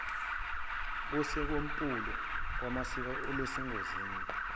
kosikompulo lwamasiko olusengozini